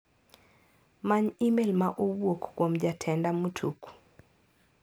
Many imel ma owuok kuom jatenda Mutuku.